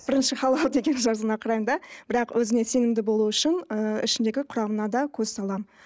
бірінші халал деген жазуына қараймын да бірақ өзіме сенімді болу үшін ы ішіндегі құрамына да көз саламын